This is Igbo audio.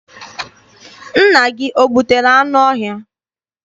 Nna gị o gbutere anụ ọhịa?